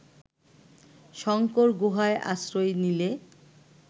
শঙ্কর গুহায় আশ্রয় নিলে